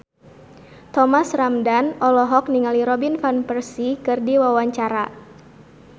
Thomas Ramdhan olohok ningali Robin Van Persie keur diwawancara